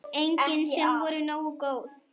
Engin sem voru nógu góð.